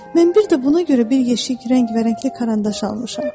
Mən bir də buna görə bir yeşik rəng-bərəngli karandaş almışam.